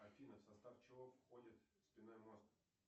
афина в состав чего входит спинной мозг